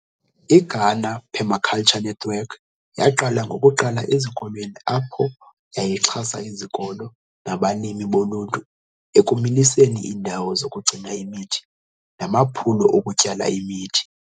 IGhana Permaculture Network yaqala ngokuqala ezikolweni apho yayixhasa izikolo, nabalimi boluntu ekumiliseni indawo zokugcina imithi namaphulo okutyala imithi.